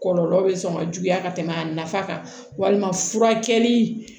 Kɔlɔlɔ bɛ sɔn ka juguya ka tɛmɛ a nafa kan walima furakɛli